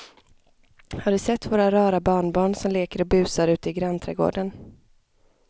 Har du sett våra rara barnbarn som leker och busar ute i grannträdgården!